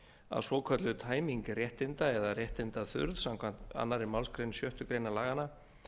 að svokölluð tæming réttinda eða réttindaþurrð samkvæmt annarri málsgrein sjöttu grein laganna